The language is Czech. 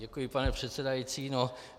Děkuji, pane předsedající.